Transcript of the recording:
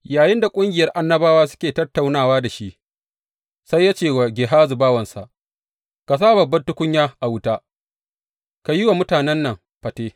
Yayinda ƙungiyar annabawa suke tattaunawa da shi, sai ya ce wa Gehazi bawansa, Ka sa babban tukunya a wuta, ka yi wa mutanen nan fate.